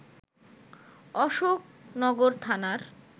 অশোকনগর থানার